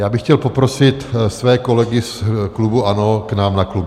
Já bych chtěl poprosit své kolegy z klubu ANO k nám na klub.